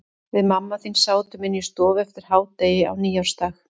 Við mamma þín sátum inni í stofu eftir hádegi á nýársdag.